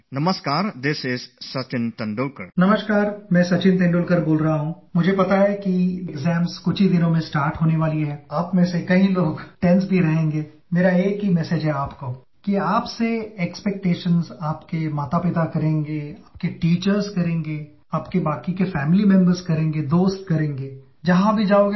My dear students, before I begin, why not let a wellknown world opener make the opening comments about the things and experiences that helped him achieve heights of success in his life